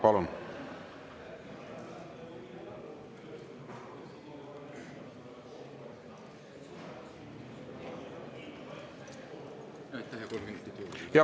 Palun!